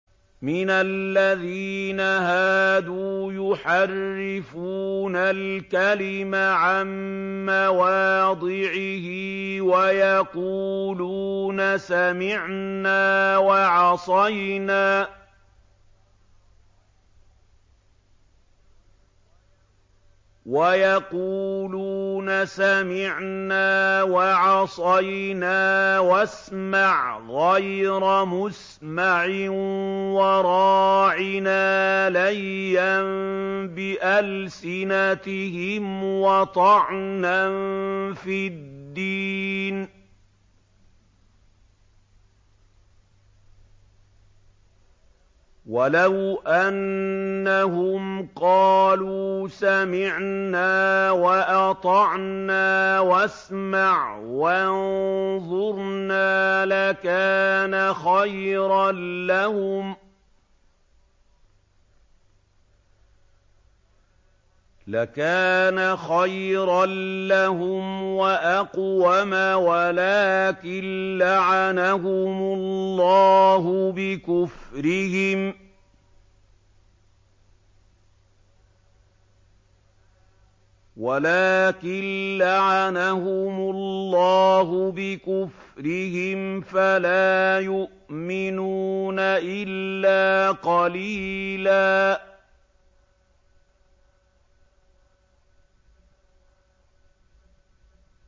مِّنَ الَّذِينَ هَادُوا يُحَرِّفُونَ الْكَلِمَ عَن مَّوَاضِعِهِ وَيَقُولُونَ سَمِعْنَا وَعَصَيْنَا وَاسْمَعْ غَيْرَ مُسْمَعٍ وَرَاعِنَا لَيًّا بِأَلْسِنَتِهِمْ وَطَعْنًا فِي الدِّينِ ۚ وَلَوْ أَنَّهُمْ قَالُوا سَمِعْنَا وَأَطَعْنَا وَاسْمَعْ وَانظُرْنَا لَكَانَ خَيْرًا لَّهُمْ وَأَقْوَمَ وَلَٰكِن لَّعَنَهُمُ اللَّهُ بِكُفْرِهِمْ فَلَا يُؤْمِنُونَ إِلَّا قَلِيلًا